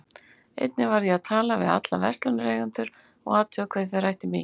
Einnig varð ég að tala við alla verslunareigendur og athuga hvað þeir ættu mikið.